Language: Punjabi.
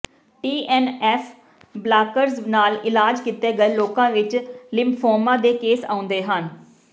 ਟੀ ਐੱਨ ਐੱਫ ਬਲਾਕਰਜ਼ ਨਾਲ ਇਲਾਜ ਕੀਤੇ ਗਏ ਲੋਕਾਂ ਵਿੱਚ ਲਿਮਫੋਮਾ ਦੇ ਕੇਸ ਆਉਂਦੇ ਹਨ